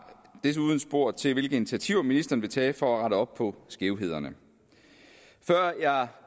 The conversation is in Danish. desuden spurgt til hvilke initiativer ministeren vil tage for at rette op på skævhederne før jeg